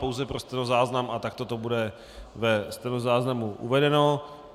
Pouze pro stenozáznam a takto to bude ve stenozáznamu uvedeno.